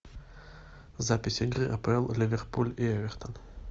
запись игры апл ливерпуль и эвертон